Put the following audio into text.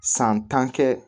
San tan kɛ